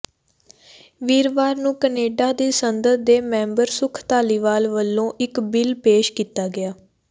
ਵੀਰਵਾਰ ਨੂੰ ਕੈਨੇਡਾ ਦੀ ਸੰਸਦ ਦੇ ਮੈਂਬਰ ਸੁੱਖ ਧਾਲੀਵਾਲ ਵੱਲੋਂ ਇੱਕ ਬਿੱਲ ਪੇਸ਼ ਕੀਤਾ ਗਿਆ